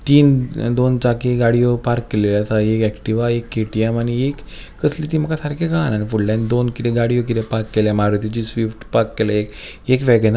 तीन दोन चाकी गाडीयो पार्क केलेल्यो आसा एक एक्टीवा एक के_टी_एम आनी एक कसली ती म्हाका सारखी कळाना आनी फुडल्यान कीदे दोन कीदे गाडीयो पार्क केल्या म्हारुतीची स्वीफ्ट पार्क केल्या एक एक वेगनार --